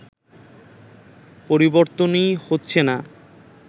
পরিবর্তনই হচ্ছে না